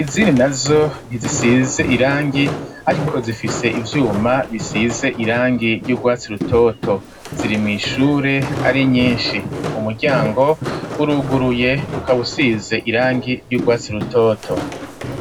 izindi nazo ntizisize irangi ariko zifise ivyuma bisize irangi ry'ugwatsi rutoto ziri mw'ishure ari nyinshi umuryango w'uruguruye ukaba usize irangi ry'ugwatsi rutoto.